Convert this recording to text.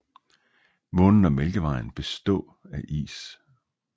Månen og Mælkevejen bestå af is